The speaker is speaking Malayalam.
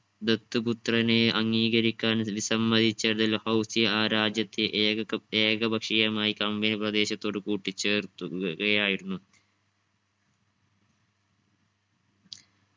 ദത്തുപുത്രനെ അംഗീകരിക്കാൻ വിസമ്മിച്ചതിൽ ഹൗസി ആ രാജ്യത്തെ ഏക ക ഏകപക്ഷീയമായി company പ്രദേശത്തോട് കൂട്ടിച്ചേർത്തു കയായിരുന്നു.